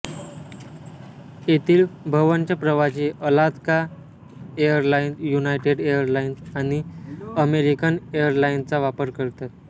येथील बव्हंश प्रवासी अलास्का एरलाइन्स युनायटेड एरलाइन्स आणि अमेरिकन एरलाइन्सचा वापर करतात